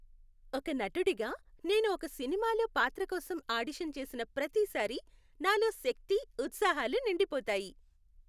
ఒక నటుడిగా, నేను ఒక సినిమాలో పాత్ర కోసం ఆడిషన్ చేసిన ప్రతిసారీ నాలో శక్తి, ఉత్సాహాలు నిండిపోతాయి.